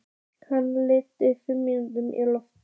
Hana vantar fimm mínútur í tólf